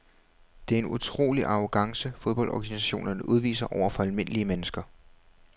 Det er en utrolig arrogance fodboldorganisationerne udviser over for almindelige mennesker.